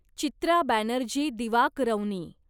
Chitra Banerjee Divakaruni